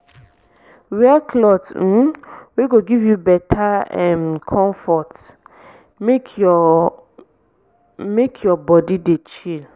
wear cloth um wey go give yu beta um comfort mek yur mek yur bodi dey chill